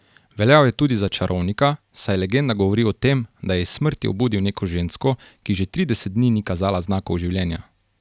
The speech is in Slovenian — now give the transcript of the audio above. Veljal je tudi za čarovnika, saj legenda govori o tem, da je iz smrti obudil neko žensko, ki že trideset dni ni kazala znakov življenja.